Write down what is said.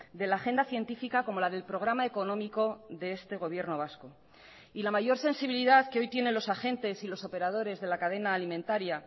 de la agenda científica como la del programa económico de este gobierno vasco y la mayor sensibilidad que hoy tienen los agentes y los operadores de la cadena alimentaria